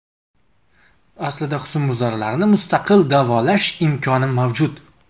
Aslida husnbuzarlarni mustaqil davolash imkoni mavjud.